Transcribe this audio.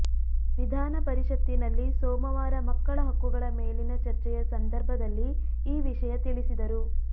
ವಿಧಾನಪರಿಷತ್ತಿನಲ್ಲಿ ಸೋಮವಾರ ಮಕ್ಕಳ ಹಕ್ಕುಗಳ ಮೇಲಿನ ಚರ್ಚೆಯ ಸಂದರ್ಭದಲ್ಲಿ ಈ ವಿಷಯ ತಿಳಿಸಿದರು